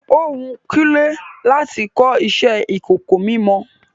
Ó wun Kúnlé láti kọ iṣẹ ìkọ̀kọ̀ mímọ.